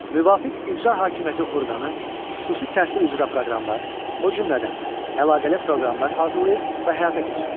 Müvafiq icra hakimiyyəti orqanı xüsusi təhsil üzrə proqramlar, o cümlədən əlaqəli proqramlar hazırlayır və həyata keçirir.